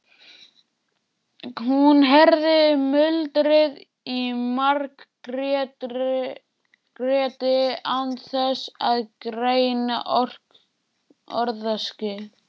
Hún heyrði muldrið í Margréti án þess að greina orðaskil.